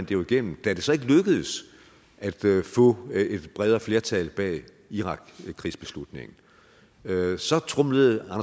jo igennem da det så ikke lykkedes at få et bredere flertal bag irakkrigsbeslutningen så tromlede